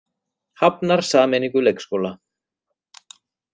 Hafnar sameiningu leikskóla